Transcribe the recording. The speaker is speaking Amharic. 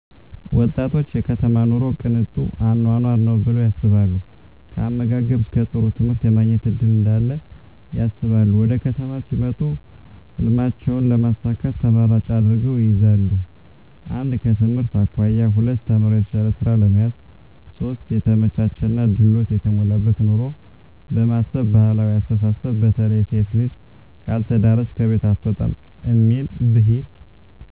ወጣቶች የከተማ ኑሮ ቅንጡ አኖኖር ነው ብለው ያስባሉ ከአመጋገብ እስከ ጥሩ ትምህርት የማግኘት እድል እዳለ ያስባሉ ወደከተማ ሲመጡ ህልሜቸውን ለማሳካት ተመራጭ አድርገው ይይዛሉ 1/ከትምህርት አኮያ 2/ተምረው የተሻለ ስራ ለመያዝ 3/የተመቻቸና ድሎት የተሞላበት ኑሮን በማሰብ ባህላዊ አስተሳስብ በተለይ ሴት ልጅ ካልተዳረች ከቤት አትውጣም እሚል ቢሂል